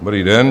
Dobrý den.